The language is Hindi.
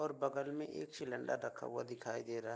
और बगल में एक सिलिंडर रखा हुआ दिखाई दे रहा है।